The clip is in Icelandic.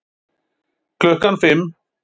Klukkan fimm